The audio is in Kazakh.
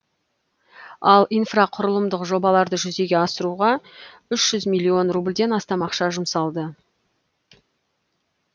ал инфрақұрылымдық жобаларды жүзеге асыруға үш жүз миллион рубльден астам ақша жұмсалды